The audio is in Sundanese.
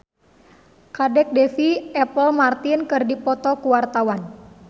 Kadek Devi jeung Apple Martin keur dipoto ku wartawan